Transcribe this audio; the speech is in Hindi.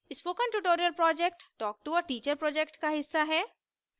spoken tutorial project talktoa teacher project का हिस्सा है